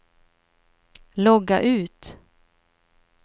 logga ut